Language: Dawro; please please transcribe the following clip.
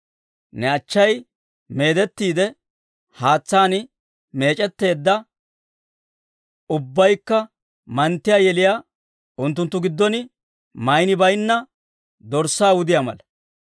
Ne achchay meedettiide, haatsaan meec'etteedda ubbaykka manttiyaa yeliyaa, unttunttu giddon maynii bayinna dorssaa wudiyaa mala.